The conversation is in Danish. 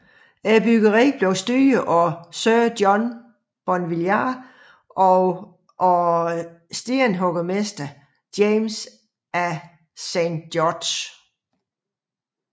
Byggeriet blev styret af sir John Bonvillars og af stenhuggermesteren James af Saint George